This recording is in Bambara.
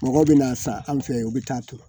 Mɔgɔ bɛ n'a san an fɛ yen u bɛ taa to